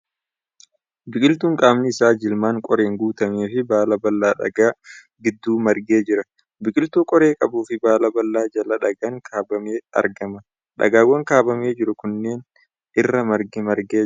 Biqiltuun qaamni isaa jilmaan qoreen guutame fi baala babal'aa dhagaa gidduu maragee jira. Biqiltuu qoree qabuu fi baala babal'aa jala dhagaan kaabamee argama. Dhagaawwan kaabamee jiru kanneen irra margi margee jira.